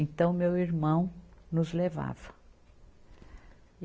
Então, meu irmão nos levava e.